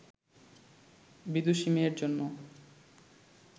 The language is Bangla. বিদুষী মেয়ের জন্য